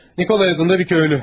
Nikolay adında bir köylü.